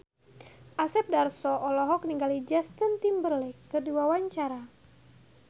Asep Darso olohok ningali Justin Timberlake keur diwawancara